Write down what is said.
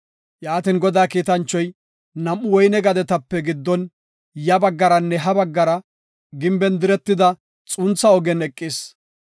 Yaatin, Godaa kiitanchoy nam7u woyne gadetape giddon ya baggaranne ha baggara gimben diretida xuntha ogen eqis.